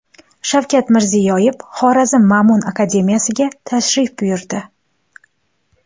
Shavkat Mirziyoyev Xorazm Ma’mun akademiyasiga tashrif buyurdi.